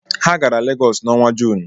Ha gara legosi na ọnwa Jụnụ